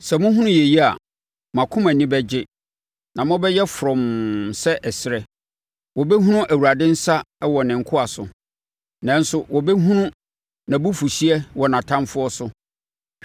Sɛ mohunu yei a, mo akoma ani bɛgye na mobɛyɛ frɔmm sɛ ɛserɛ; wɔbɛhunu Awurade nsa wɔ ne nkoa so, nanso wɔbɛhunu nʼabufuhyeɛ wɔ nʼatamfoɔ so.